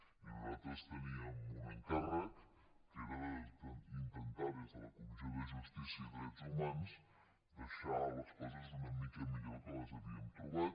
i nosaltres teníem un encàrrec que era intentar des de la comissió de justícia i drets humans deixar les coses una mica millor del que les havien trobat